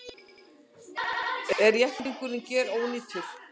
Er jepplingurinn gerónýtur